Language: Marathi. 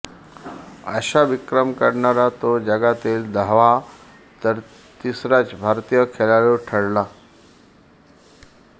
असा विक्रम करणारा तो जगातील दहावा तर तिसराच भारतीय खेळाडू ठरला